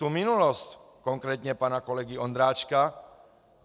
Tu minulost, konkrétně pana kolegy Ondráčka.